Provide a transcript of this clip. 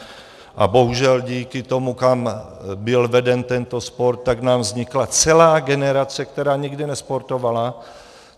A bohužel díky tomu, kam byl veden tento sport, tak nám vznikla celá generace, která nikdy nesportovala.